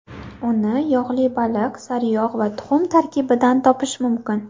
Uni yog‘li baliq, sariyog‘ va tuxum tarkibidan topish mumkin.